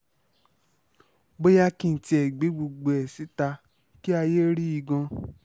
bóyá kí n tiẹ̀ gbé gbogbo ẹ̀ síta kí ayé rí i gan